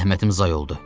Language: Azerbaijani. Zəhmətim zay oldu.